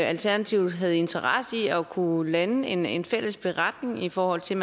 alternativet har interesse i at kunne lande en en fælles beretning i forhold til